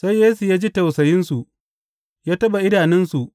Sai Yesu ya ji tausayinsu, ya taɓa idanunsu.